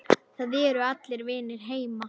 Það eru allir vinir heima.